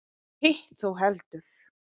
Hitt þó heldur.